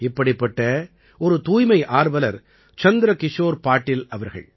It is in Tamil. இப்படிப்பட்ட ஒரு தூய்மை ஆர்வலர் சந்திரகிஷோர் பாடில் அவர்கள்